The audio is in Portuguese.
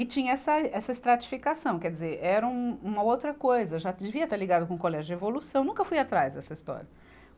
E tinha essa, essa estratificação, quer dizer, era um, uma outra coisa, eu já devia estar ligada com o colégio de evolução, nunca fui atrás dessa história.